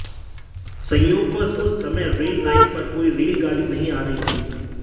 संयोगवश उस समय रेल लाइन पर कोई रेल गाड़ी नही आ रही थी